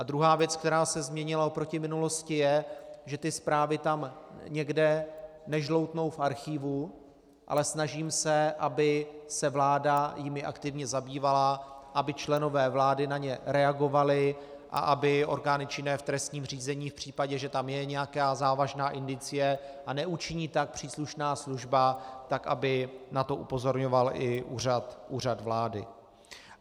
A druhá věc, která se změnila oproti minulosti, je, že ty zprávy tam někde nežloutnou v archívu, ale snažím se, aby se vláda jimi aktivně zabývala, aby členové vlády na ně reagovali a aby orgány činné v trestním řízení v případě, že tam je nějaká závažná indicie a neučiní tak příslušná služba, tak aby na to upozorňoval i Úřad vlády.